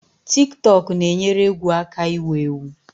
Tik tọk na-enyere egwu aka iwu-ewu